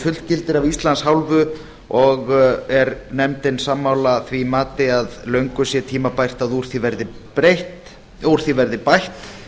fullgilda a af íslands hálfu og er nefndin sammála því mati að löngu sé tímabært að úr því verði bætt